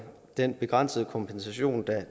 den begrænsede kompensation